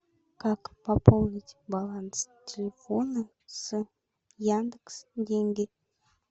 как пополнить баланс телефона с яндекс деньги